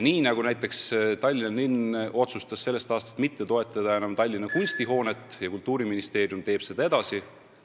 Näiteks Tallinna linn otsustas sellest aastast enam mitte toetada Tallinna Kunstihoonet, aga Kultuuriministeerium teeb seda edasi.